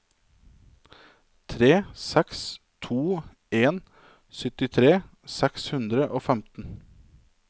tre seks to en syttitre seks hundre og femten